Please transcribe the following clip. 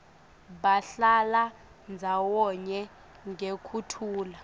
bahlala ndzawonye ngekuthula